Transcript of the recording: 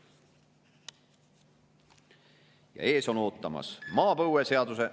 Ja ees on ootamas maapõueseaduse …